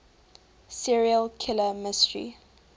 serial killer mystery